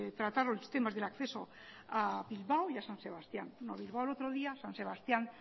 tratar los temas del acceso a bilbao y a san sebastián a bilbao el otro día san sebastián